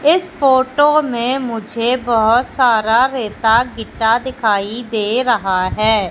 इस फोटो में मुझे बहोत सारा रेता गीता दिखाई दे रहा हैं।